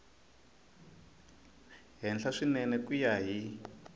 henhla swinene ku ya hi